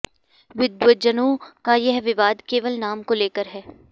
विद्वज्जनों का यह विवाद केवल नाम को लेकर है